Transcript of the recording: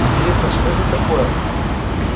интересно что это такое